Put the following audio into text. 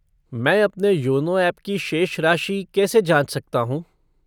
मैं अपना योनो ऐप की शेष राशि कैसे जाँच सकता हूँ?